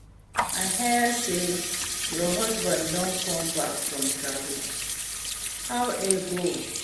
I hear say your husband don come back from travel, how e go?